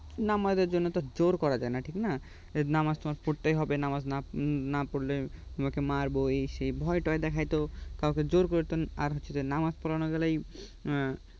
নামাজের জন্য তো জোর করা যায় না ঠিক না নামাজ তোমার পড়তেই হবে নামাজ না পরলে তোমাকে মারবো এই সেই ভয় টয় দেখাইয়েত কাউকে জোর করে আর হচ্ছে নামাজ পড়ানো গেলেই